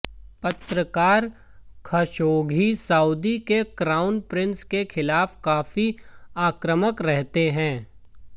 पत्रकार Khashoggi Saudi के crown prince के खिलाफ काफी आक्रमक रहते थे